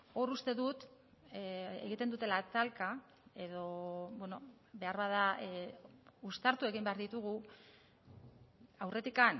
hor uste dut egiten dutela talka edo beharbada uztartu egin behar ditugu aurretik